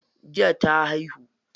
Jiya ta haihu.